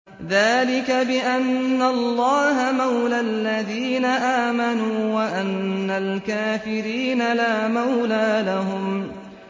ذَٰلِكَ بِأَنَّ اللَّهَ مَوْلَى الَّذِينَ آمَنُوا وَأَنَّ الْكَافِرِينَ لَا مَوْلَىٰ لَهُمْ